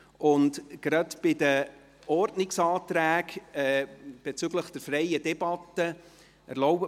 Erlauben Sie mir eine Bemerkung zu den Ordnungsanträgen auf freie Debatten: